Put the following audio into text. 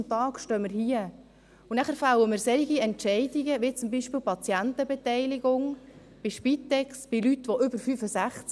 Am Ende des Tages stehen wir hier und fällen wir solche Entscheide, wie beispielsweise die Patientenbeteiligung bei der Spitex, bei Menschen über 65.